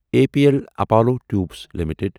A P L Apollo Tubes limited